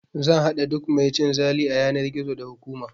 Zan haɗa duk mai cin zali a yanar gizo, da hukuma!